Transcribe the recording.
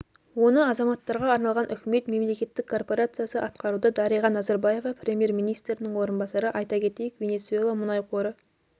оны азаматтарға арналған үкімет мемлекеттік корпорациясы атқаруда дариға назарбаева премьер-министрінің орынбасары айта кетейік венесуэла мұнай қоры